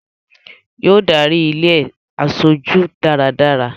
Yóò darí ilé e aṣojú dáradára